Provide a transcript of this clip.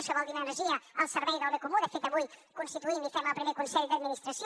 això vol dir energia al servei del bé comú de fet avui constituïm i fem el primer consell d’administració